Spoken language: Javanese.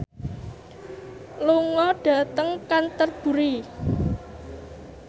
lunga dhateng Canterbury